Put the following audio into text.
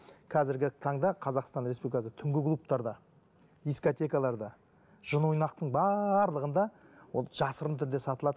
қазіргі таңда қазақстан республикасы түнгі клубтарда дискотекаларда жын ойнақтың барлығында ол жасырын түрде сатылады